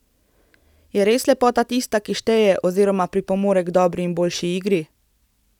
Je res lepota tista, ki šteje oziroma pripomore k dobri in boljši igri?